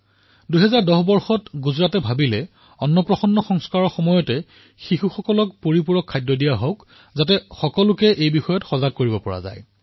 গুজৰাটে ২০১৪ চনত চিন্তা কৰিছিল যে এই অন্নপ্ৰসন্ন বিধিত শিশুসকলক যাতে অতিৰিক্ত খাদ্য প্ৰদান কৰা হয় আৰু এই সন্দৰ্ভত জনসাধাৰণক সজাগ কৰা হওক